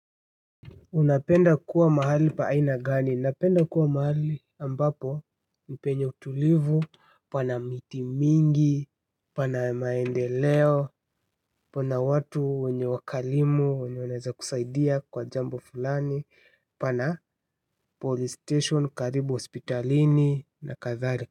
Unapenda kuwa mahali pa aina gani? Napenda kuwa mahali ambapo penye utulivu, pana miti mingi, pana maendeleo, pana watu wenye wakalimu, wenye wanaeza kusaidia kwa jambo fulani, pana police station karibu hospitalini na kadhalika.